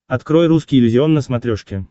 открой русский иллюзион на смотрешке